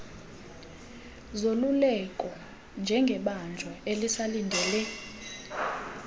zoluleko njengebanjwa elisalindele